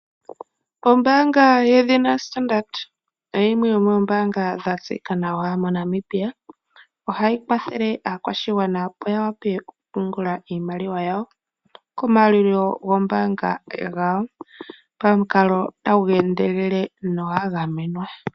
Ombaanga yedhina Standard oyo yimwe yomoombanga dhatseyika nawa moNamibia. Ohayi kwathele aakwashigwana opo yawape okupungula iimaliwa yayo komaalulilo gombaanga pamukalo tagu endelele nogwa gamenwa.